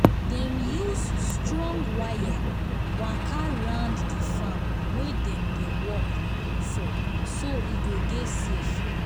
dem use strong waya waka round di farm wey dem dey um work for so um e go dey safe